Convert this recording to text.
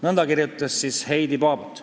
" Nõnda kirjutas siis Heidi Paabort.